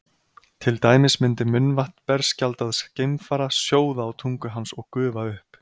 Til dæmis myndi munnvatn berskjaldaðs geimfara sjóða á tungu hans og gufa upp.